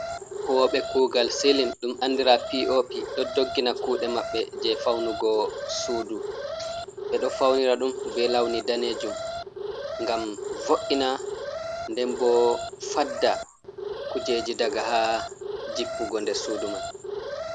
Huwobe kugal selim. Ɗum anɗira be piopi ɗo ɗoggina kuɗe mabbe je faunugo suɗu. be ɗo faunira ɗum be launi ɗanejum ngam vo’ina nɗen bo faɗɗa kujeji ɗaga ha jippugo nder suɗu man.